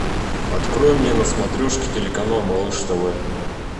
открой мне на смотрешке телеканал малыш тв